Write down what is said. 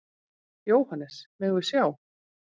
Jóhannes: Megum við sjá?